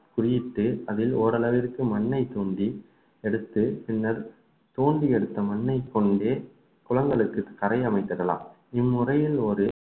குறியிட்டு அதில் ஓரளவிற்கு மண்ணைத் தோண்டி எடுத்து பின்னர் தோண்டி எடுத்த மண்ணைக் கொண்டே குளங்களுக்கு கரை அமைத்திடலாம் இம்முறையில் ஒரு